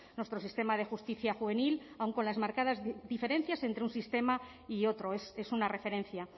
nuestro sistema de justicia juvenil aun con las marcadas diferencias entre un sistema y otro es una referencia